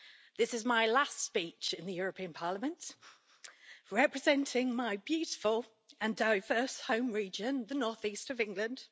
This is my last speech in the European Parliament, representing my beautiful and diverse home region, the North East of England.